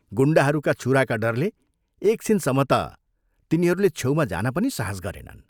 गुण्डाहरूका छुराका डरले एकछिनसम्म ता तिनीहरूले छेउमा जान पनि साहस गरेनन्।